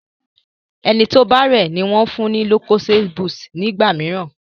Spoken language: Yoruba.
ẹní tó o bá rẹ ní wón fún ní lucozade boost nígbàmìíràn.